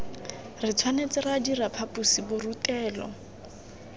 re tshwanetse ra dira phaposiborutelo